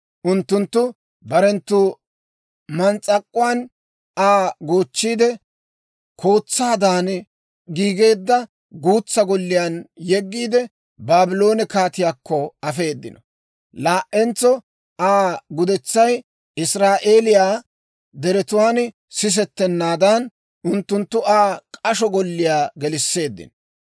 Unttunttu barenttu maaggaan Aa goochchiide, kootsaadan giigeedda guutsa golliyaan yeggiide, Baabloone kaatiyaakko afeedino. Laa"entso Aa gudetsay Israa'eeliyaa deretuwaan sisettennaadan, unttunttu Aa k'asho golliyaa gelisseeddino.